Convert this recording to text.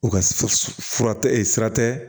U ka fura tɛ sira tɛ